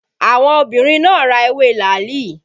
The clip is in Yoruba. Àwọn obìnrin náà ra ewé làálì